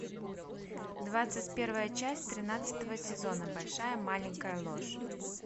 двадцать первая часть тринадцатого сезона большая маленькая ложь